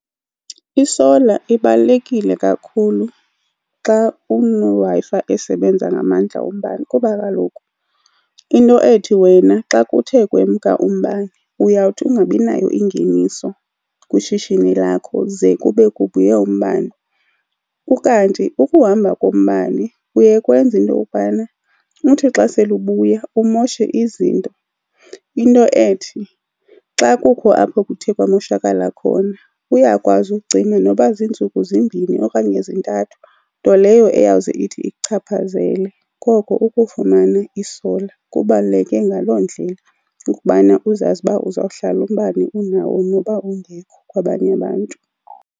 Isola ibalulekile kakhulu xa uneWi-Fi esebenza ngamandla wombane. Kuba kaloku into ethi, wena xa kuthe kwemka umbane uyawuthi ungabi nayo ingeniso kwishishini lakho ze kube kubuye umbane. Ukanti ukuhamba kombani kuye kwenze into yokokubana uthi xa sele ubuya umoshe izinto. Into ethi xa kukho apho kuthe kwamoshakala khona, uyakwazi ucima noba ziintsuku zimbini okanye zintathu, nto leyo eyawuze ithi ikuchaphazele. Koko ukufumana isola kubaluleke ngaloo ndlela ukubana uzazi uba uzawuhlala umbane unawo noba ungekho kwabanye abantu.